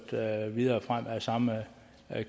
videre frem af den samme